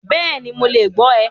Bẹ́ẹ̀ni, Mo le gbọ rẹ̀